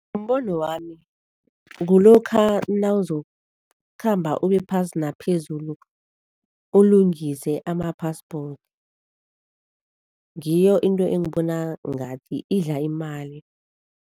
Ngombono wami kulokha nawuzokukhamba uyephasi naphezulu ulungise ama-passport, ngiyo into engibona ngathi idla imali.